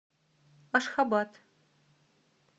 ашхабад